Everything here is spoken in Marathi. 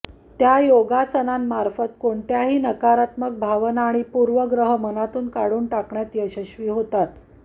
त्या योगासनांमार्फत कोणत्याही नकारात्मक भावना किंवा पूर्वग्रह मनातून काढून टाकण्यात यशस्वी होतात